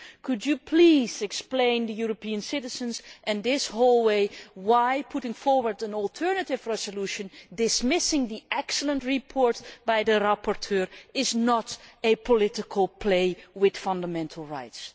Could you please explain to the European citizens and this House why putting forward an alternative resolution dismissing the excellent report by the rapporteur is not a political game with fundamental rights?